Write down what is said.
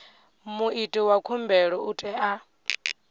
muiti wa khumbelo u tea